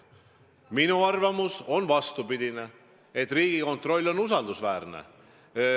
Minu arvamus on vastupidine: Riigikontroll on usaldusväärne.